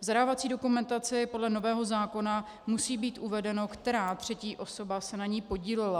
V zadávací dokumentaci podle nového zákona musí být uvedeno, která třetí osoba se na ní podílela.